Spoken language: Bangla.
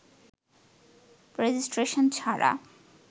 রেজিস্ট্রেশন ছাড়া